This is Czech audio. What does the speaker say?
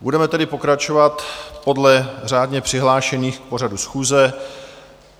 Budeme tedy pokračovat podle řádně přihlášených k pořadu schůze.